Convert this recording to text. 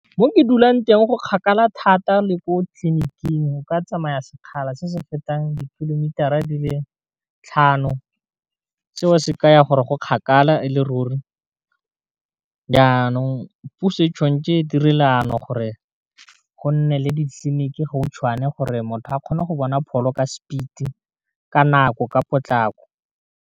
Mo ke dulang teng go kgakala thata le ko tleliniking o ka tsamaya sekgala se se fetang ditkilometara di le tlhano, seo se ka ya gore go kgakala e le ruri, jaanong puso e tshwanetse e diri leano gore go nne le ditleliniki gautshwane gore motho a kgone go bona pholo ka speed ka nako ka potlako.